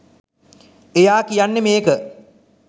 එයා කියන්නේ මේක